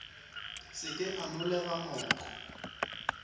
se ke a nolega moko